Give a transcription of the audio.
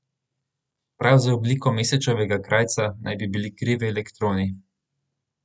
Prav za obliko Mesečevega krajca naj bi bili krivi elektroni.